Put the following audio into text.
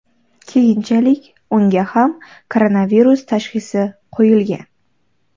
Keyinchalik unga ham koronavirus tashxisi qo‘yilgan.